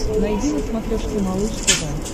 найди на смотрешке малыш тв